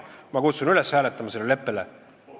Ma kutsun üles ütlema sellele leppele ei.